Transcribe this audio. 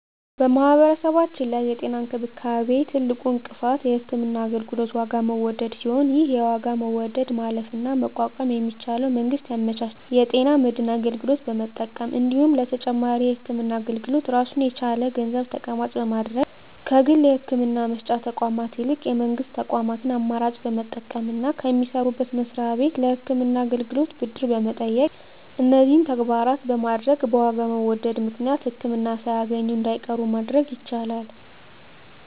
በማህበረሰባችን ላይ የጤና እንክብካቤ ትልቁ እንቅፋት የህክምና አገልግሎት የዋጋ መወደድ ሲሆን ይህን የዋጋ መወደድ ማለፍና መቋቋም የሚቻለው መንግስት ያመቻቸውን የጤና መድን አገልግሎት በመጠቀም እንዲሁም ለተጨማሪ የህክምና አገልግሎት ራሱን የቻለ ገንዘብ ተቀማጭ በማድረግ ከግል የህክምና መስጫ ተቋማት ይልቅ የመንግስት ተቋማትን አማራጭ በመጠቀምና ከሚሰሩበት መስሪያ ቤት ለህክምና አገልግሎት ብድር በመጠየቅ እነዚህን ተግባራት በማድረግ በዋጋ መወደድ ምክንያት ህክምና ሳያገኙ እንዳይቀሩ ማድረግ ይቻላል።